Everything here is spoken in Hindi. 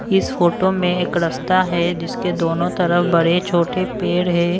इस फोटो में एक रास्ता है जिसके दोनों तरफ बड़े-छोटे पैड है।